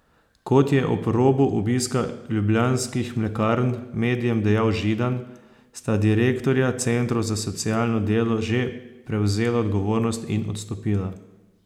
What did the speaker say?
Kot je ob robu obiska Ljubljanskih mlekarn medijem dejal Židan, sta direktorja centrov za socialno delo že prevzela odgovornost in odstopila.